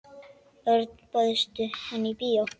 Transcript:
Örn, bauðstu henni í bíó?